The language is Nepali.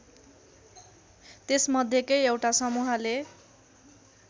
त्यसमध्येकै एउटा समूहले